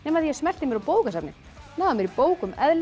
því ég smellti mér á bókasafnið náði mér í bók um